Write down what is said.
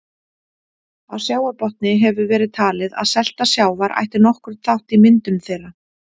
Á sjávarbotni hefur verið talið að selta sjávar ætti nokkurn þátt í myndun þeirra.